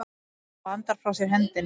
Hann bandar frá sér hendinni.